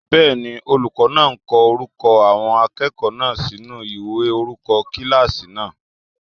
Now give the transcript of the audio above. Bẹ́ẹ̀ni, olùkọ́ náà ń ko orúkọ àwọn akẹ́kọ̀ọ́ náà sinú ìwé orúkọ kílásì náà.